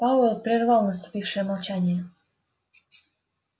пауэлл прервал наступившее молчание